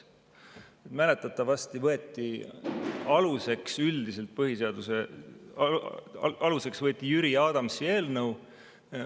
Mäletatavasti võeti üldiseks põhiseaduse aluseks Jüri Adamsi eelnõu.